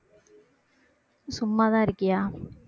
சும்மாதான் இருக்கியா